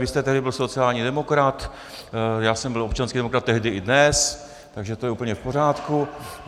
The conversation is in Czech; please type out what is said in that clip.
Vy jste tehdy byl sociální demokrat, já jsem byl občanský demokrat tehdy i dnes, takže to je úplně v pořádku.